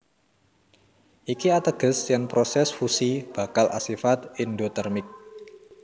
Iki ateges yèn prosès fusi bakal asifat èndotèrmik